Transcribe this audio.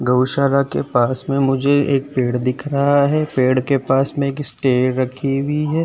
गौशाला के पास मे मुझे एक पेड़ दिख रहा है। पेड़ के पास मे एक स्टेयर रखी हुई है।